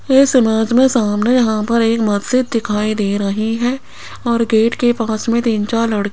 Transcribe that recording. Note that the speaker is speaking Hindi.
इस इमेज में सामने यहाँ पर एक मस्जिद दिखाई दे रही है और गेट के पास में तीन चार लड़ --